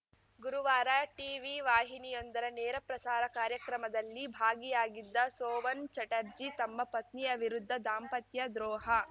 ಗುರುವಾರ ಟೀವಿ ವಾಹಿನಿಯೊಂದರ ನೇರ ಪ್ರಸಾರ ಕಾರ್ಯಕ್ರಮದಲ್ಲಿ ಭಾಗಿಯಾಗಿದ್ದ ಸೋವನ್‌ ಚಟರ್ಜಿ ತಮ್ಮ ಪತ್ನಿಯ ವಿರುದ್ಧ ದಾಂಪತ್ಯ ದ್ರೋಹ